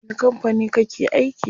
A wani kampani kake aiki?